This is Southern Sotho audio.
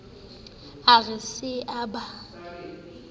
a re se a ba